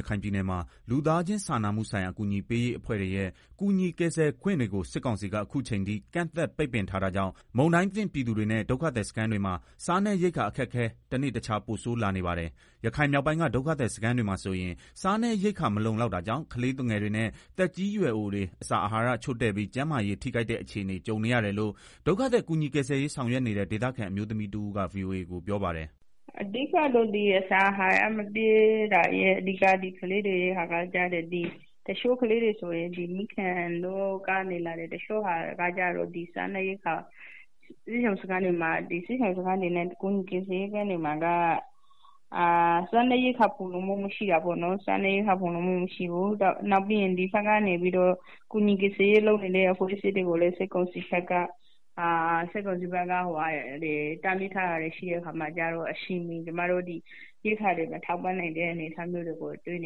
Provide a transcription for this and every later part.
ရခိုင်ပြည်နယ်မှာ လူသားချင်စာနာမှုဆိုင်ရာ အကူအညီပေးရေး အဖွဲ့တွေ့ရဲ့ ကူညီကယ်ဆယ်ခွင့်တွေကို စစ်ကောင်စီက အခုအချိန်ထိ ကန့်သတ် ပိတ်ပင်ထားတာကြောင့် မုန်တိုင်းသင့် ပြည်သူတွေနဲ့ ဒုက္ခသည်စခန်းတွေမှာ စားနပ်ရိက္ခာ အခက်အခဲ တနေ့တခြား ပိုဆိုးလာနေပါတယ်။ ရခိုင်မြောက်ပိုင်းက ဒုက္ခသည် စခန်းတွေမှာဆိုရင် စားနပ်ရိက္ခာ မလုံလောက်တာကြောင့် ကလေးသူငယ်တွေနဲ့ သက်ကြီးရွယ်အိုတွေ အစာအာဟာရ ချို့တဲ့ပြီး ကျန်းမာရေး ထိခိုက်တဲ့အခြေအနေ ကြုံနေရတယ်လို့ ဒုက္ခသည်ကူညီ ကယ်ဆယ်ရေး ဆောင်ရွက်နေတဲ့ ဒေသခံ အမျိုးသမီးတဦး က ဗွီအိုအေကို ပြောပါတယ်။ “ အဓိက ကလေးတွေ အစာအဟာရ မပြည့်တာက တချို့ကကျတော့ မိခင်နို့ကနေ လာတယ်။ တချို့ဟာကတော့ စားနပ်ရိက္ခာ ကပေါ့။ စစ်ရှောင်စခန်းတွေမှာက စားနပ်ရိက္ခာ ဖူလုံမှု မရှိတာ ပေါ့နော်။ နောက်ပြီးတော့ ကူညီကယ်ဆယ်ရေး လုပ်နေတဲ့ အဖွဲ့အစည်းတွေကိုလည်း စစ်ကောင်စီဘက်က တားမြစ်ထားတာတွေရှိတဲ့အခါကျတော့ ကျမတို့ အချိန်မီ ရိက္ခာတွေ ထောက်ပံ့မပေးနိုင်တဲ့ အနေအထား ရှိနေတာတွေ့ရတယ်။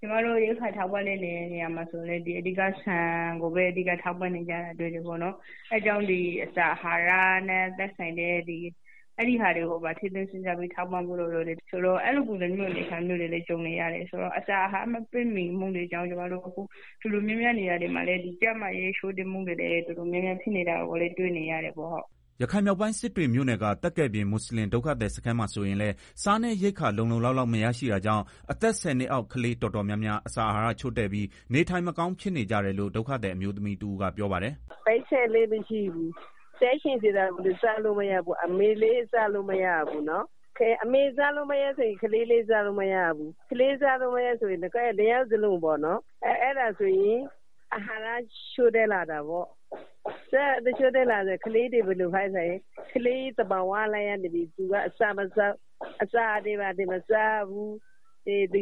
ကျမတို့ ထောက်ပံ့တဲ့ အခါမှာလည်း ဆန်ကိုပဲ အဓိက ထောက်ပံ့နေရတယ်။ အဲ့ဒါကြောင့် အစာအဟာရနဲ့ သက်ဆိုင်တဲ့ဟာတွေကိုပါ ထည့်သွင်းစဉ်းစားပြီး ထောက်ပံ့ဖို့ လိုတယ်။ ဆိုတော့ အဲ့လို ပုံစံမျိုးတွေလည်း ကြုံနေရတယ်ဆိုတော့ အစာအဟာရ မပြည့်မီမှုတွေကြောင့် ကျမတို့ တော်တော်များများ နေရာတွေမှာ ကျန်းမာရေး ချို့တဲ့တာတွေ ဖြစ်နေတာကို တွေ့နေရတယ်ပေါ့။” ရခိုင်မြောက်ပိုင်း စစ်တွေမြို့နယ်က သက်ကယ်ပြင် မွတ်ဆလင် ဒုက္ခသည်စခန်းမှာ ဆိုရင်လည်း စားနပ်ရိက္ခာ လုံလုံလောက်လောက် မရရှိတာကြောင့် အသက် ၁ဝ နှစ်အောက် ကလေး တော်တော်များများ အစာအာဟာရချို့တဲ့ပြီး နေထိုင်မကောင်း ဖြစ်နေကြတယ်လို့ ဒုက္ခသည် အမျိုးသမီးတဦးက ပြောပါတယ်။ “ပိုက်ဆံလည်းမရှိဘူး။ စားချင်တာကိုလည်း စားလို့မရဘူး။ အမေလည်း မစားရဘူး။ ကလေးတွေလည်း မစားရဘူး။ အဲ့လိုနဲ့ အဟာရ ချို့တဲ့ လာတာပေါ့။ ကလေးတွေ ဘယ်လိုဖြစ်လဲ ဆိုတော့ အစာမစားတော့ဘူး။ ငိုတ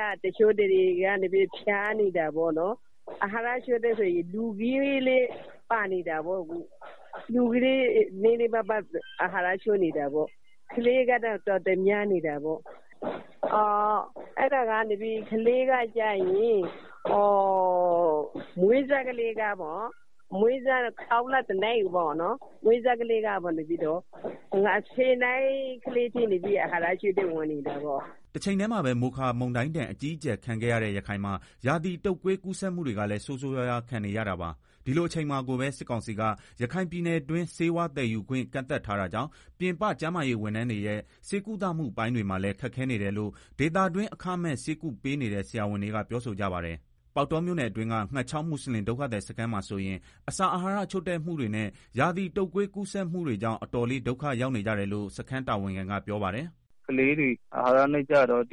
ယ်။ တချို့ဆိုရင် ဖျားတယ်။ အဟာရ ချို့တဲ့တာမှာ လူကြီးလည်း ပါနေတာပေါ့။ ကလေးကတော့ အတော်များနေတာပေါ့။ ကလေးတွေဆိုရင် မွေးကင်းစ ကလေးတွေကနေ အသက် ၁ဝ နှစ် ကလေးတွေအထိ အဟာရ ချို့တဲ့နေကြတယ်။” တချိန်တည်းမှာပဲ မိုခါတိုင်းဒဏ် အကြီးအကျယ် ခံခဲ့ရတဲ့ ရခိုင်မှာ ရာသီတုပ်ကွေး ကူးစက်မှုတွေကလည်း ဆိုးဆိုးရွားရွား ခံနေရတာပါ။ ဒီလိုအချိန်မှာကိုပဲ စစ်ကောင်စီက ရခိုင်ပြည်နယ်တွင်း ဆေးဝါးသယ်ယူခွင့် ကန့်သတ်ထားတာကြောင့် ပြင်ပ ကျန်းမာရေးဝန်ထမ်းတွေရဲ့ ဆေးကုသမှု ပိုင်းတွေမှာလည်း ခက်ခဲနေတယ်လို့ ဒေသတွင်း အခမဲ့ ဆေးကုပေးနေတဲ့ ဆရာတွေက ပြောဆိုကြပါတယ်။ ပေါက်တောမြို့နယ်အတွင်းက ငှက်ချောင်း မွတ်ဆလင် ဒုက္ခသည်စခန်းမှာဆိုရင် အစာအာဟာရ ချို့တဲ့မှုတွေနဲ့ ရာသီတုပ်ကွေး ကူးစက်မှုတွေကြောင့် အတော်လေး ဒုက္ခရောက်နေကြတယ်လို့ စခန်းတာဝန်က ပြောပါတယ်။ “ကလေးတွေ အဟာရနဲ့ ကျတော့ အ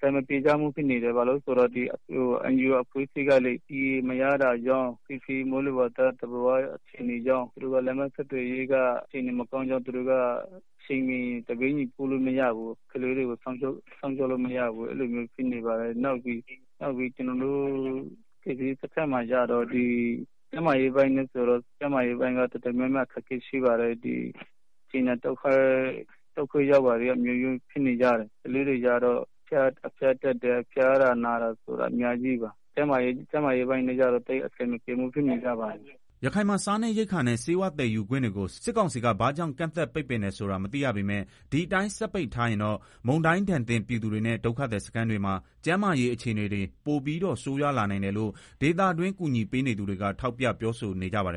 ဆင်မပြေဘူး ဖြစ်နေတယ်။ ဘာလို့လဲဆိုတော့ NGO အဖွဲ့ အစည်းတွေကလည်း TA မရတာတွေ၊ လမ်းခရီးသွားလာရ ခက်ခဲတာတွေကြောင့် သူတို့ကလည်း အချိန်မီ ပေးပို့နိုင်တာ မရှိတာကြောင့် ကလေးတွေကို စောင့်ရှောက် လို့မရဘူး။ အဲလိုမျိုး ဖြစ်နေပါတယ်။ ကျနော်တို့ စခန်းမှာ ကျန်းမာရေးပိုင်းလည်း တော်တော် များများ အခက်အခဲရှိပါတယ်။ သွေးလွန်တုပ်ကွေးတွေလည်း အမျိုးမျိုးဖြစ်နေကြတယ်။ ကလေးတွေ ဖျားတာ နာတာတွေ အများကြီးပါ။ ကျန်းမာရေးပိုင်း အဆင်မပြေ ဖြစ်နေကြပါတယ်။” ရခိုင်မှာ စားနပ်ရိက္ခာနဲ့ ဆေးဝါးသယ်ယူခွင့်တွေကို စစ်ကောင်စီက ဘာကြောင့် ကန့်သတ် ပိတ်ပင်ထားတယ် ဆိုတာ မသိရပေမယ့် ဒီအတိုင်း ဆက်ပိတ်ထားရင်တော့ မုန်တိုင်းဒဏ်သင့် ပြည်သူတွေနဲ့ ဒုက္ခသည်စခန်းတွေမှာ ကျန်းမာရေး အခြေအနေတွေ ပိုပြီးတော့ ဆိုးရွားလာနိုင်တယ်လို့ ဒေသတွင်း ကူညီပေးနေသူတွေက ထောက်ပြ ပြောဆိုကြပါတယ်